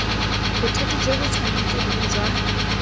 bothati jo bo tshwanetseng jwa